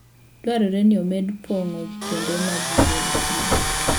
Dwarore ni omed pong'o kuonde ma gigo nitie.